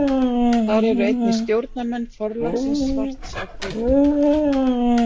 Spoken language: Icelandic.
Þar eru einnig stjórnarmenn forlagsins Svarts á hvítu.